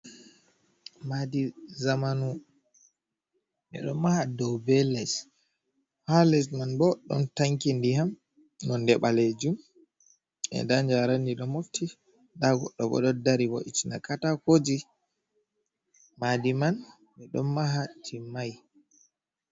Maadi zamanu, ɓe ɗon maha dow be les, haa les man bo, ɗon tanki ndiyam nonde ɓaleejum. Ndaa njaraandi ɗo mofti, ndaa goɗɗo bo ɗo dari, wo'itina katakooji. Maadi man, ɓe ɗon maha timmay.